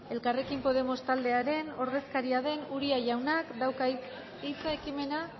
elkarrekin podemos taldearen ordezkaria den uria jaunak dauka hitza ekimena